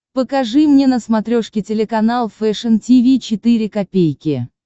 покажи мне на смотрешке телеканал фэшн ти ви четыре ка